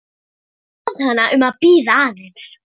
Bað hana að bíða aðeins.